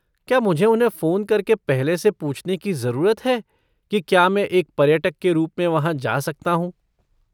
क्या मुझे उन्हें फ़ोन करके पहले से पूछने की ज़रूरत है कि क्या मैं एक पर्यटक के रूप में वहाँ जा सकता हूँ?